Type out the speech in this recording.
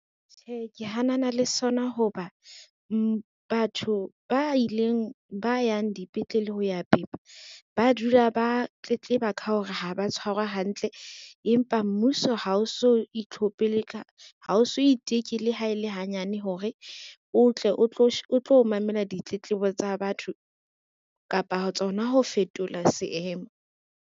Tjhe ke hanana le sona ho ba batho ba yang dipetlele ho ya pepa, ba dula ba tletleba ka hore ha ba tshwarwa hantle, empa mmuso ha o so iteke le ha e le hanyane hore o tle o tlo mamela ditletlebo tsa batho kapa tsona ho fetola seemo.